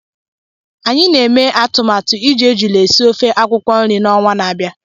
Anyị na-eme atụmatụ iji ejula esi ofe akwukwo nri n'ọnwa n'abia.